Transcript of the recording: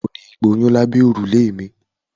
O kò ní gboyún lábẹ́ òrùlé mi.